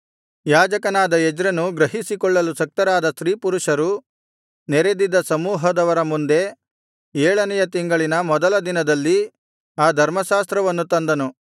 ಯಾಜಕನಾದ ಎಜ್ರನು ಗ್ರಹಿಸಿಕೊಳ್ಳಲು ಶಕ್ತರಾದ ಸ್ತ್ರೀಪುರುಷರು ನೆರೆದಿದ್ದ ಸಮೂಹದವರ ಮುಂದೆ ಏಳನೆಯ ತಿಂಗಳಿನ ಮೊದಲ ದಿನದಲ್ಲಿ ಆ ಧರ್ಮಶಾಸ್ತ್ರವನ್ನು ತಂದನು